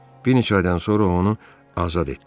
Bir neçə aydan sonra onu azad etdilər.